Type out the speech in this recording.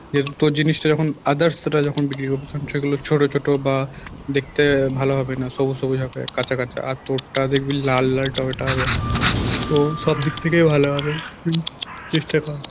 যেহেতু তোর জিনিসটা যখন others রা যখন বিক্রি করবে তখন সেগুলো ছোটো ছোটো বা দেখতে ভালো হবে না সবুজ সবুজ হবে কাঁচা কাঁচা আর তোর টা দেখবি লাল লাল টমেটো হবে তো সব দিক থেকে ভালো হবে চেষ্টা কর